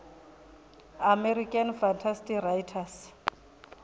american fantasy writers